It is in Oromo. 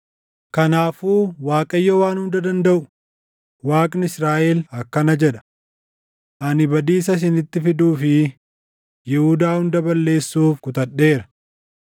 “Kanaafuu Waaqayyo Waan Hunda Dandaʼu, Waaqni Israaʼel akkana jedha: Ani badiisa isinitti fiduu fi Yihuudaa hunda balleessuuf kutadheera.